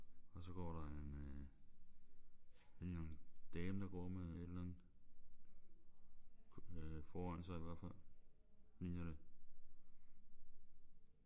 Og så går der en øh en dame der går med et eller andet øh foran sig i hvert fald ligner det